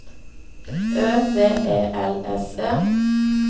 Ø V E L S E